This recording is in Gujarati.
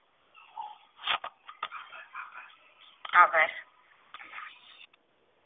આભાર